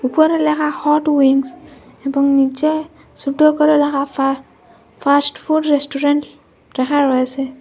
উপরে ল্যাখা hot wings এবং নীচে সোট করে ব়্যাখা ফা ফাস্ট ফুড রেস্টুরেন্ট ল্যাখা রয়েসে।